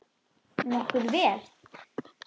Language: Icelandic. Nokkuð vel.